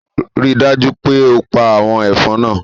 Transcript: Rii daju pe o pa awọn ẹfọn naa